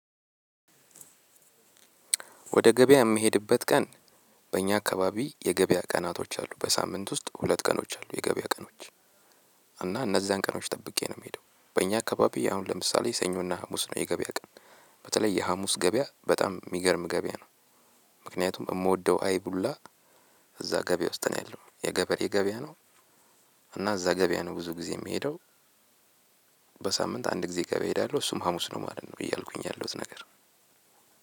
ወደ ገበያ የምሄድበት ቀን። በእኛ አካባቢ የገበያ ቀናቶች አሉ በሳምንት ውስጥ ሁለት ቀኖች አሉ የገበያ ቀኖች። እና እነዛን ቀኖች ጠብቄ ነው የምሄደው በእኛ አካባቢ አሁን ለምሳሌ ሰኞና ሀሙስ ነው የገበያ ቀን። በተለይ የሀሙስ ገበያ በጣም የሚገርም ገበያ ነው። ምክንያቱም የምወደው አይብ ሁላ እዛ ገበያ ውስጥ ነው ያለው የገበሬ የገበያ ነው። እና እዛ ገበያ ነው ብዙ ጊዜ የምሄደው። በሳምንት አንድ ጊዜ ገበያ እሄዳለሁ እሱም ሀሙስ ነው ማለት ነው እያልኩኝ ያለሁት ነገር።